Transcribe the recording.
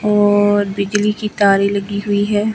और बिजली की तारे लगी हुई है।